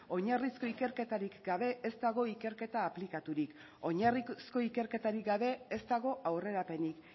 oinarrizko ikerketarik gabe ez dago ikerketa aplikaturik oinarrizko ikerketarik gabe ez dago aurrerapenik